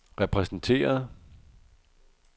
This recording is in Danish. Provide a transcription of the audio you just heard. repræsenteret